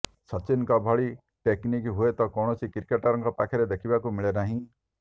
ସଚିନଙ୍କ ଭଳି ଟେକନିକ୍ ହୁଏତ କୌଣସି କ୍ରିକେଟରଙ୍କ ପାଖରେ ଦେଖିବାକୁ ମିଳେ ନାହିଁ